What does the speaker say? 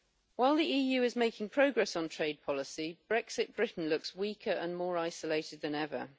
While the EU is making progress on trade policy, Brexit Britain looks weaker and more isolated than ever.